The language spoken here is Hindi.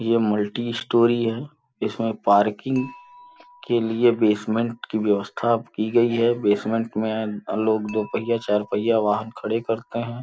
ये मल्टी स्टोरी है इसमें पार्किंग के लिए बेसमेंट की व्यवस्था की गई है बेसमेंट में लोग दो पहिया चार पहिया वाहन खड़े करते हैं।